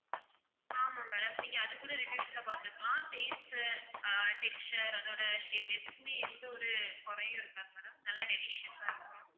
ஆமாம் madam நீங்க அதுகூட reviews ல பார்த்துக்கலாம் taste உ ஆஹ் texture அதோட shape எதுக்குமே எந்த ஒரு குறையும் இருக்காது madam நல்லா delicious ஆ இருக்கும்